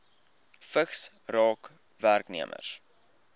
vigs raak werknemers